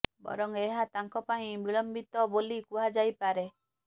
ବରଂ ଏହା ତାଙ୍କ ପାଇଁ ବିଳମ୍ବିତ ବୋଲି କୁହା ଯାଇପାରେ